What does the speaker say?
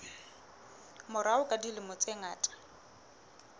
morao ka dilemo tse ngata